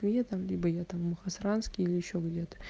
я там либо я там мухосранске или ещё где-то